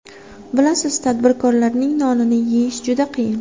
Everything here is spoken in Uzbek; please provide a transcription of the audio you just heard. Bilasiz, tadbirkorlikning nonini yeyish juda qiyin.